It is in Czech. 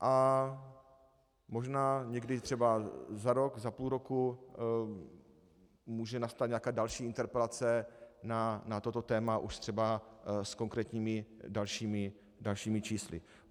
A možná někdy třeba za rok, za půl roku může nastat nějaká další interpelace na toto téma, už třeba s konkrétními dalšími čísly.